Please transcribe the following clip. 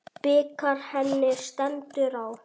Bikar henni stendur á.